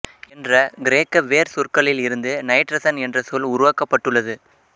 என்ற கிரேக்க வேர்சொற்களில் இருந்து நைட்ரசன் என்ற சொல் உருவாக்கப்பட்டுள்ளது